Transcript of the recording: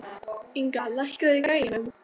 Inga, lækkaðu í græjunum.